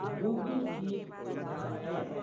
Google Keep उद्घाटय।